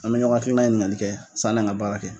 An be ɲɔgɔn hakilinan ɲininkali kɛ sanni an ka baara kɛ.